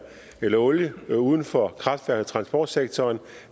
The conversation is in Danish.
eller olie uden for kraftværk og transportsektoren